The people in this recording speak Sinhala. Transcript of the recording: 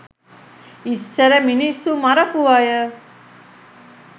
ඉස්සර මිනිස්සු මරපු අය